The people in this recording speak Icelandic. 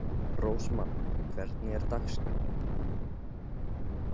Rósmann, hvernig er dagskráin?